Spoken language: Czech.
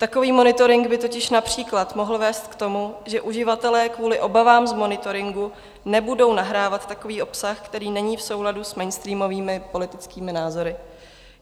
Takový monitoring by totiž například mohl vést k tomu, že uživatelé kvůli obavám z monitoringu nebudou nahrávat takový obsah, který není v souladu s mainstreamovými politickými názory.